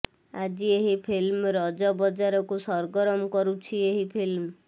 ଆଜି ଏହି ଫିଲ୍ମ ରଜ ବାଜାରକୁ ସରଗରମ କରୁଛି ଏହି ଫିଲ୍ମ